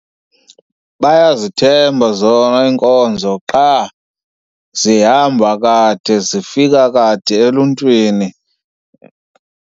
Bayazithemba zona iinkonzo qha zihamba kade, zifika kade eluntwini.